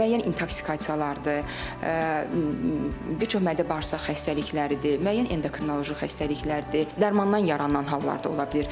Müəyyən intoksikasiyalardır, bir çox mədə-bağırsaq xəstəlikləridir, müəyyən endokrinoloji xəstəliklərdir, darmandan yaranan hallarda ola bilər.